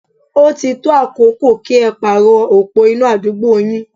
Ó ti tó àkókò kí ẹ pàrọ̀ opó iná àdúgbò yín.